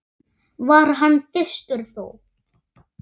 var hann þyrstur þó.